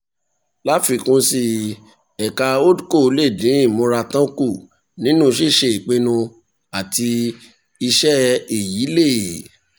láfikún sí i ẹ̀ka holdco lè dín ìmúratán kù nínú ṣíṣe ìpinnu àti iṣẹ́ èyí lè